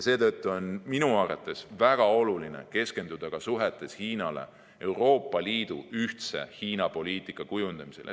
Seetõttu on minu arvates väga oluline keskenduda ka suhetes Hiinaga Euroopa Liidu ühtse Hiina‑poliitika kujundamisele.